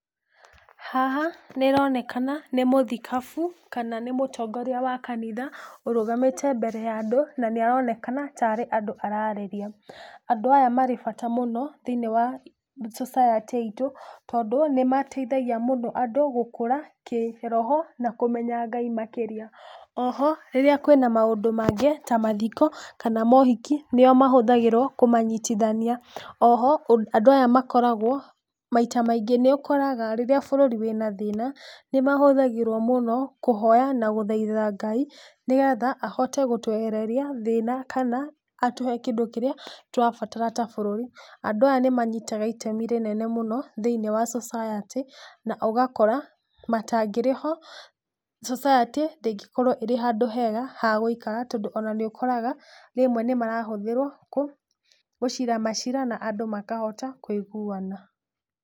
Haha, nĩronekana, nĩ mũthikabu, kana nĩ mũtongoria wa kanitha, ũrũgamĩte mbere ya andũ, na nĩaronekana tarĩ andũ ararĩria, andũ aya marí bata mũno thĩ-inĩ wa society itũ, tondũ nĩmateithagia mũno andũ gũkũra kĩroho, na kũmenya Ngai makĩria, oho, rĩrĩa kwĩna maũndũ mangĩ ta mathiko, kana mohiki, nĩo mahũthagĩrwo kũmanyitithania, oho, andũ aya makoragwo maita maingĩ nĩũkoraga rĩrĩa bũrũri wĩna thĩna, nĩmahũthagĩrwo mũno, kũhoya, na gũthaitha Ngai, nĩgetha haote, gũtwehereria thĩna, kana atũhe kĩndũ kĩrĩa tũrabatara ta bũrũri, andũ aya nĩmanyitaga itemi inene mũno thĩ-inĩ wa society na ũgakora, matangĩrĩ ho, society ndĩngĩkorwo ĩrĩ handũ hega ha gũikara, tondũ ona nĩũkoraga, rĩmwe nĩmarahũthĩrwo, kũ gũcira macira na andũ makahota kũiguana.